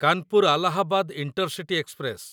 Kanpur Allahabad intercity express